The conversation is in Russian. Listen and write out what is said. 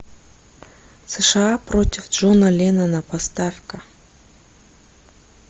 сша против джона леннона поставь ка